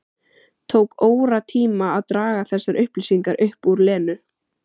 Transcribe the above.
Tók óratíma að draga þessar upplýsingar upp úr Lenu.